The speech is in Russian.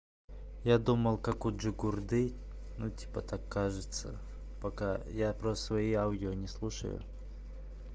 я думал как у джигурды ну типа так кажется пока я просто свои аудио не слушаю